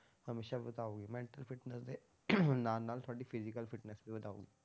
ਹਮੇਸ਼ਾ ਵਧਾਊਗੀ mental fitness ਦੇ ਨਾਲ ਨਾਲ ਤੁਹਾਡੀ physical fitness ਵੀ ਵਧਾਊਗੀ।